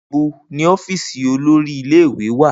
Nibo ni ọfiisi olori ile-iwe wa?